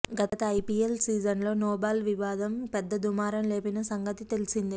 గత ఐపీఎల్ సీజన్లో నోబాల్ వివాదం పెద్ద దుమారం లేపిన సంగతి తెలిసిందే